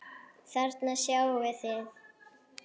Þarna sjáið þið.